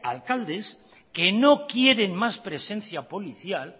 alcaldes que no quieren más presencia policial